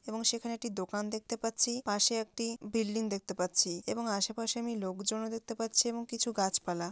এবং সেখানে একটি দোকান দেখতে পাচ্ছি পাশে একটি বিল্ডিং দেখতে পাচ্ছি এবং আশেপাশে আমি লোকজনও দেখতে পাচ্ছি এবং কিছু গাছপালা।